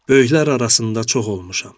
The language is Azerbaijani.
Böyüklər arasında çox olmuşam.